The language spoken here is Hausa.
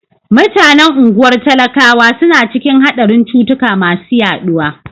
Mutanen unguwar talakawa suna cikin haɗarin cutuka masu yaɗuwa.